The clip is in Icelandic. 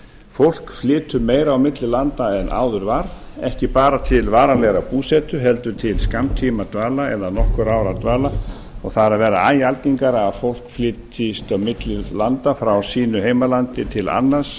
fólk flytur meira á milli landa en áður var ekki bara til varanlegrar búsetu heldur til skammtímadvalar eða nokkurra ára dvalar og það er að verða æ algengara að fólk flytjist á milli landa frá sínu heimalandi til annars